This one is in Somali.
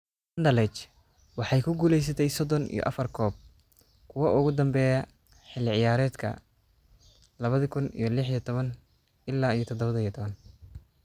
Anderlecht waxay ku guuleysatay sodon iyo afar koob, kuwa ugu dambeeya ee xilli ciyaareedkii lawadhi kun iyo lix iyo tawan ila dadawa iyo tawan.